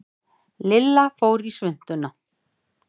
Lilla fór í svuntuna.